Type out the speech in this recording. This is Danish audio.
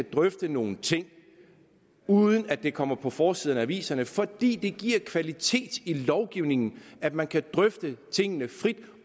drøfte nogle ting uden at det kommer på forsiden af aviserne fordi det giver kvalitet i lovgivningen at man kan drøfte tingene frit